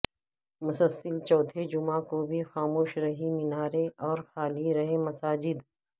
مسلسل چوتھے جمعہ کوبھی خاموش رہی میناریں اورخالی رہیں مساجد